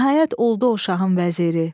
Nəhayət, oldu o şahın vəziri.